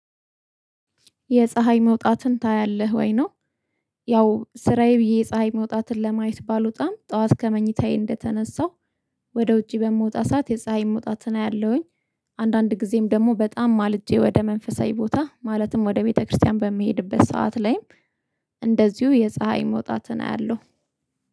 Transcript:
የፀሀይ መውጣትን ታያለህ ወይ? ነው ያው ስራዬ ብዬ የፀሀይ መውጣትን ለማየት ባልወጣም ጠዋት ከመኝታዬ እንደተነሳሁ ወደ ውጪ በምወጣ ሰዓት የፀሀይ መውጣትን አያለሁኝ። አንዳንድ ጊዜም ደግሞ በጣም ማልጄ ወደ መንፈሳዊ ቦታ ማለትም ወደ ቤተክርስቲያን በሚሄድበት ሰዓት ላይም እንደዚሁ የፀሀይ መውጣትን አያለሁ።